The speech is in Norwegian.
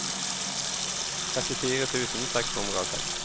trettifire tusen seks hundre og seks